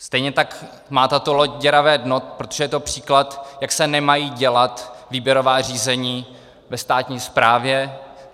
Stejně tak má tato loď děravé dno, protože je to příklad, jak se nemají dělat výběrová řízení ve státní správě.